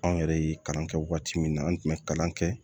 Anw yɛrɛ ye kalan kɛ waati min na an tun bɛ kalan kɛ